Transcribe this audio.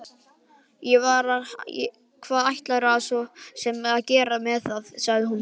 Hvað ætlarðu svo sem að gera með það, sagði hún.